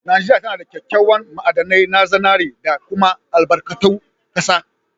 Najeria tanada kya kyawan ma'adanai na zinari da kuma albarkatu kasa.